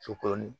Sukɔrɔnin